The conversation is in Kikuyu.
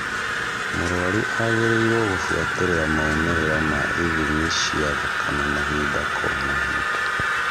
Mũrũaru agĩrĩirũo gũbuatĩrĩra maumĩrĩra m ithimi cia thakame mahinda kwa mahida.